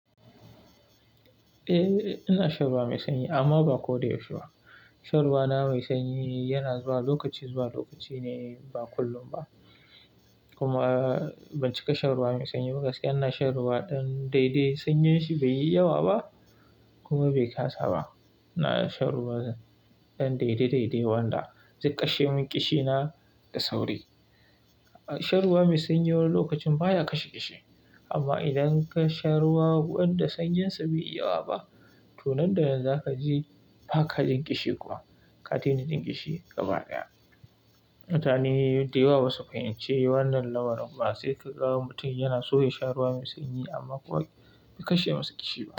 Eh, ina shan ruwa mai sanyi amma ba ko da yaushe ba. Shan ruwa na mai sanyi yana zuwa lokaci zuwa lokaci ne, ba kullum ba. Kuma ban cika shan ruwa mai sanyi ba, gaskiya ina shan ruwa ɗan daidai, sanyan shi bai yi yawa ba kuma bai kasa ba. Ina shan ruwa ɗan daidai daidai wanda zai kashe min ƙishina da sauri. Shan ruwa mai sanyi wani lokacin baya kashe ƙishi amma idan ka sha ruwa wanda sanyinsa bai yi yawa ba, tun nan da nan za ka ji ba ka jin ƙishi kuwa, ka tuna jin ƙishi gaba daya. Mutane dayawa ba su fahimci wannan lamarin kuma sai ka ga mutum yana so ya sha ruwa mai sanyi amma kuwa bai kashe masa ƙishi ba.